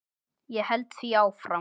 Ég held því áfram.